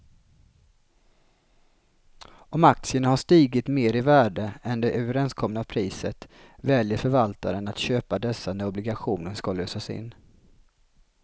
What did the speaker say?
Om aktierna har stigit mer i värde än det överenskomna priset väljer förvaltaren att köpa dessa när obligationen ska lösas in.